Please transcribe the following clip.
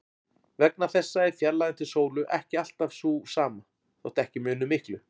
Vegna þessa er fjarlægðin til sólu ekki alltaf sú sama, þótt ekki muni miklu.